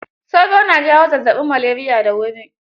Sauro na jawa zazzaɓin maleriya da wuri.